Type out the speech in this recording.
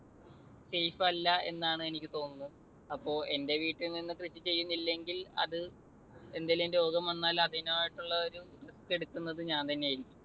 safe അല്ല എന്നാണ് എനിക്ക് തോന്നുന്നത്. അപ്പൊ എൻ്റെ വീട്ടിൽനിന്നു കൃഷി ചെയ്യുന്നില്ലെങ്കിൽ അത് എന്തെങ്കിലും രോഗം വന്നാൽ അതിനായിട്ടുള്ള ഒരു risk എടുക്കുന്നത് ഞാൻ തന്നെയായിരിക്കും.